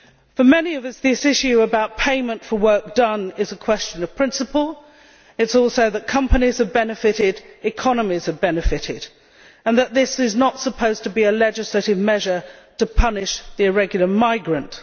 For many of us, this issue about payment for work done is a question of principle it is also that companies and economies have benefited and that this is not supposed to be a legislative measure to punish the irregular migrant.